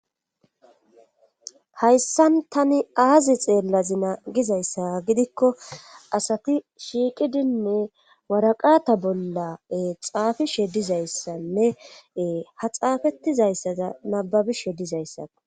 Hayssan tani aazi xeellazi na gizayssa gidikko asati shiiqidinne waraqata bolla xaafishe dizayssanne ha xaafetizayssaza nababishe dizayssa.